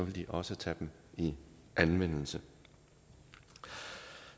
de også tage dem i anvendelse